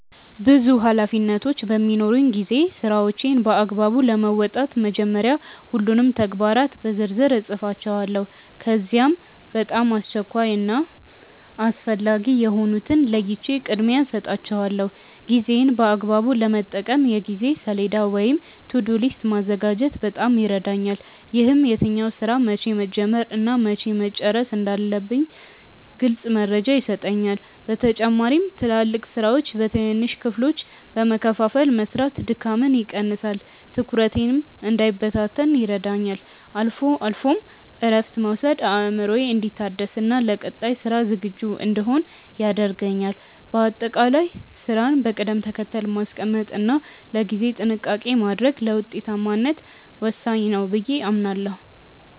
ብዙ ኃላፊነቶች በሚኖሩኝ ጊዜ ስራዎቼን በአግባቡ ለመወጣት መጀመሪያ ሁሉንም ተግባራት በዝርዝር እጽፋቸዋለሁ። ከዚያም በጣም አስቸኳይ እና አስፈላጊ የሆኑትን ለይቼ ቅድሚያ እሰጣቸዋለሁ። ጊዜዬን በአግባቡ ለመጠቀም የጊዜ ሰሌዳ ወይም "To-do list" ማዘጋጀት በጣም ይረዳኛል። ይህም የትኛውን ስራ መቼ መጀመር እና መቼ መጨረስ እንዳለብኝ ግልጽ መረጃ ይሰጠኛል። በተጨማሪም ትላልቅ ስራዎችን በትንንሽ ክፍሎች በመከፋፈል መስራት ድካምን ይቀንሳል፤ ትኩረቴም እንዳይበታተን ይረዳኛል። አልፎ አልፎም እረፍት መውሰድ አእምሮዬ እንዲታደስና ለቀጣይ ስራ ዝግጁ እንድሆን ያደርገኛል። በአጠቃላይ ስራን በቅደም ተከተል ማስቀመጥ እና ለጊዜ ጥንቃቄ ማድረግ ለውጤታማነት ወሳኝ ነው ብዬ አምናለሁ።